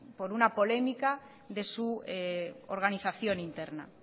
por una polémica de su organización interna